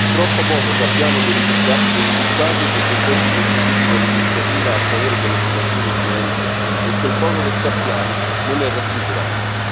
Troppo poco sappiamo dei risultati e degli effetti conseguiti con l'Iniziativa a favore dell'occupazione giovanile e quel poco che sappiamo non è rassicurante.